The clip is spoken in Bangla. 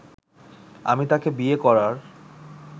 আমি তাকে বিয়ে করার